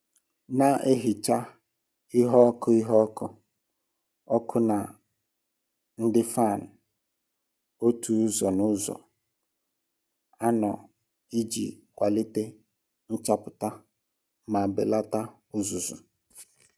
Na-ehicha ihe ọkụ ihe ọkụ ọkụ na ndị fan otu ụzọ n'ụzọ anọ iji kwalite nchapụta ma belata uzuzu.